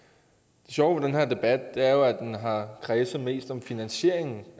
sjove ved den her debat er jo at den har kredset mest som finansieringen